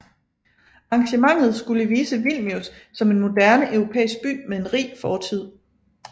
Arrangementet skulle vise Vilnius som en moderne europæisk by med en rig fortid